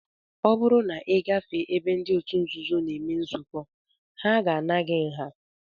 Ọ bụrụ na ị gafee ebe ndị otu nzuzo na-eme nzukọ, ha ga-ana gị nha